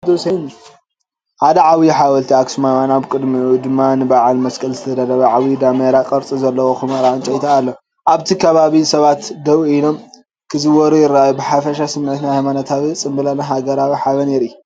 ሓደ ዓብዪ ሓወልቲ ኣኽሱማውያን፣ ኣብ ቅድሚኡ ድማ ንበዓል መስቀል ዝተዳለወ ዓብዪ ደመራ ቅርጺ ዘለዎ ኵምራ ዕንጨይቲ ኣሎ። ኣብቲ ከባቢ ሰባት ደው ኢሎም ክዘውሩ ይረኣዩ። ብሓፈሻ ስሚዒት ናይ ሃይማኖታዊ ጽምብልን ሃገራዊ ሓበንን የርኢ።